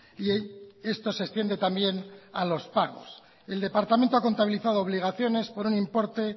y esto se extiende también a los pagos el departamento ha contabilizado obligaciones por un importe